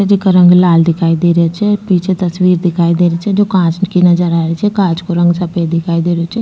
जीका रंग लाल दिखाई दे रा छे पीछे तस्वीर दिखाई दे री छे जो कांच की नजर आ री छे कांच को रंग सफ़ेद दिखाई दे रो छे।